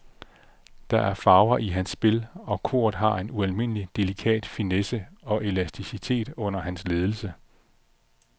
Der er farver i hans spil, og koret har en ualmindelig delikat finesse og elasticitet under hans ledelse.